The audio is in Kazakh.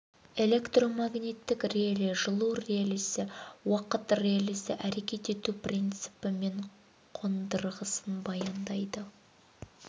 электромагниттік реле жылу релесі уақыт релесі әрекет ету принципі мен қондырғысын баяндайды